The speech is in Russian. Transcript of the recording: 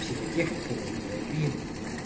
психотехниками нлп